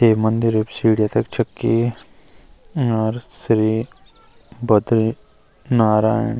ये मंदिर अब सीडियां तख छक्की और श्री बद्री नारायण।